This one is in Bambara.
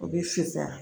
O bɛ fisaa